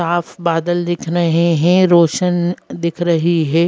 साफ बादल दिख रहे हैं रोशन दिख रही हैं।